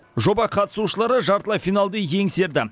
жоба қатысушылары жартылай финалды еңсерді